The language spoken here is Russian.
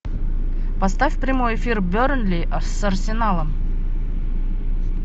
поставь прямой эфир бернли с арсеналом